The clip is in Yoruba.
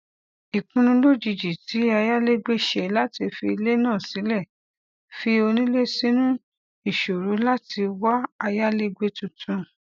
ìpinnu lojijì tí ayálégbé ṣe láti fi ilé náà sílẹ fi onílé sínú ìṣòro láti wá ayálégbé tuntun